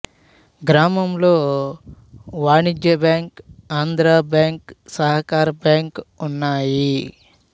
గ్రామంలో వాణిజ్య bank Andhra bank సహకార బ్యాంకు ఉన్నాయి